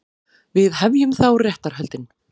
Við hefjum þá réttarhöldin.